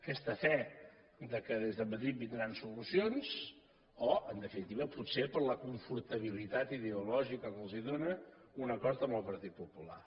aquesta fe que des de madrid vindran solucions o en definitiva potser per la confortabilitat ideològica que els dóna un acord amb el partit popular